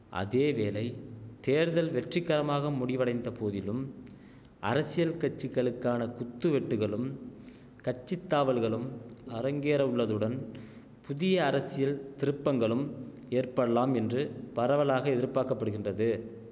அதேவேளை தேர்தல் வெற்றிக்கரமாக முடிவடைந்தபோதிலும் அரசியல் கட்சிகளுக்கான குத்துவெட்டுகளும் கட்சித்தாவல்களும் அரங்கேறவுள்ளதுடன் புதிய அரசியல் திருப்பங்களும் ஏற்பல்லாம் என்று பரவலாக எதிர்பாக்கப்படுகின்றது